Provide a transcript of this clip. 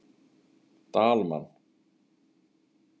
Dalmann